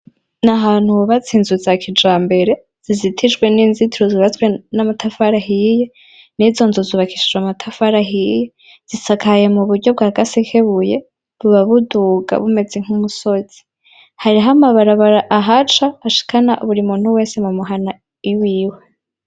Nahantu hubatse inzu za kijambere zizitijwe n'inzituru zubazwe n'amatafari ahiye nizo nzu zubakishijwe amatafari ahiye zisakaye mu buryo bwa gasekebuye buba buduga bumeze nk'umusozi, hariho amabarabara ahari hashikana buri muntu wese mumuhana iwiwe.